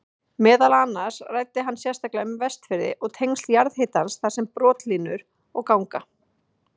Meðal annars ræddi hann sérstaklega um Vestfirði og tengsl jarðhitans þar við brotlínur og ganga.